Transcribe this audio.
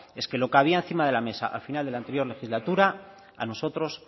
es que lo que había encima de la mesa al final de la anterior legislatura a nosotros